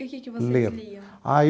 E o que que vocês liam? Ah